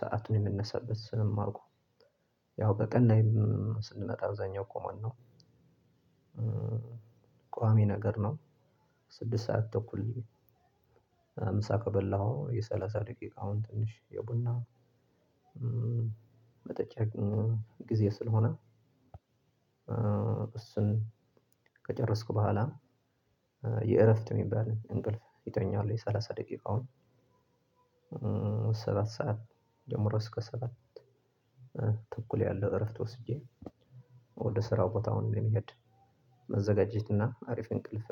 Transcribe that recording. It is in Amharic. ሰአቱን የምነሳበት ስንማርኩ ያው በቀን ላይም ስንመጣ እዛኛው ቆመን ነው ቋሚ ነገር ነው። ስድስት ሰዓት ተኩል ምሳ ከበላሁ የሰላሳ ደቂቃውን ትንሽ የቡና መጠጫ ጊዜ ስለሆነ። እሱን ከጨረስኩ በኋላ የእረፍት የሚባል እንቅልፍ ይተኛል። የሰላሳ ደቂቃውን ሰባት ሰዓት ጀምሮ እስከ ሰባት ተኩል ያለው እረፍት ወስጄ። ወደ ስራው ቦታ አሁን ለመሄድ መዘጋጀትና አሪፍ እንቅልፍ